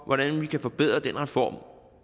hvordan vi kan forbedre den reform